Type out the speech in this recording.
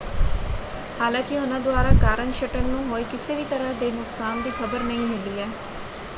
ਹਾਲਾਂਕਿ ਉਹਨਾਂ ਦੁਆਰਾ ਕਾਰਨ ਸ਼ਟਲ ਨੂੰ ਹੋਏ ਕਿਸੇ ਵੀ ਤਰ੍ਹਾਂ ਦੇ ਨੁਕਸਾਨ ਦੀ ਖਬਰ ਨਹੀਂ ਮਿਲੀ ਹੈ।